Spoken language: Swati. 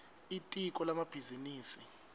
litiko lemabhizinisi